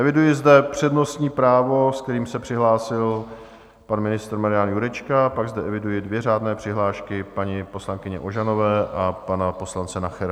Eviduji zde přednostní právo, se kterým se přihlásil pan ministr Marian Jurečka, pak zde eviduji dvě řádné přihlášky paní poslankyně Ožanové a pana poslance Nachera.